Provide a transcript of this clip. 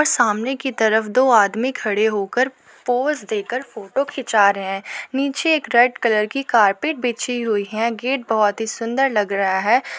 सामने की तरफ दो आदमी खड़े होकर पोज देकर फोटो खींचा रहे हैं। नीचे एक रेड कलर की कारपेट बिछी हुई है। गेट बहोत ही सुंदर लग रहा है।